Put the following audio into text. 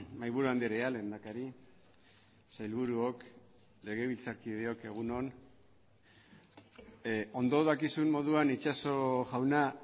mahaiburu andrea lehendakari sailburuok legebiltzarkideok egun on ondo dakizun moduan itxaso jauna